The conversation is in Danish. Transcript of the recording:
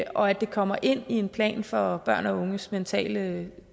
og at det kommer ind i en plan for børn og unges mentale